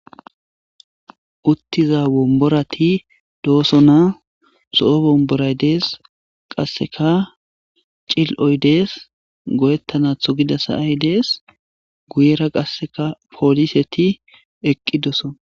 Uttiza bomborati dooso na so'o bomboray dees qasseka cil'oy dees goyettanatho gida sayay dees guyera qasseka pooliseti eqqidoso.